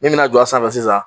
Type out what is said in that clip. Min bɛna jɔ a sanfɛ sisan